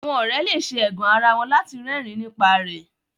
Àwọn òré le ṣe ẹgàn àrà wón lati rẹrin nípa rẹ